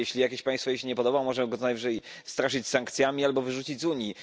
Jeśli jakieś państwo jej się nie podoba, może je najwyżej straszyć sankcjami albo wyrzucić z Unii.